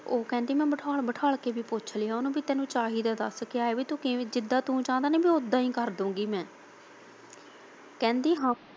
ਉਹ ਕਹਿੰਦੀ ਮੈਂ ਉਨੂੰ ਬਿਠਾ ਬਿਠਾ ਕੇ ਵੀ ਪੁੱਛ ਲਿਆ ਕਿ ਤੈਨੂੰ ਚਾਹੀਦਾ ਦੱਸ ਕੀ ਆ ਕੀ ਜਿਦਾ ਤੂੰ ਚਾਹੁੰਦਾ ਮੈਂ ਉਦਾ ਹੀ ਕਰ ਦੁੰਗੀ ਮੈ ਕਹਿੰਦੀ ਹਾਂ।